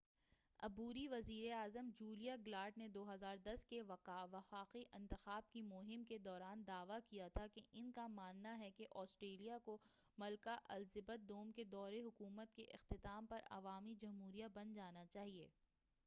عبوری وزیر اعظم جولیا گلارڈ نے 2010 کے وفاقی انتخاب کی مہم کے دوران دعویٰ کیا تھا کہ ان کا ماننا ہے کہ آسٹریلیا کو ملکہ الزبتھ دوم کے دورِ حکومت کے اختتام پر عوامی جمہوریہ بن جانا چاہیئے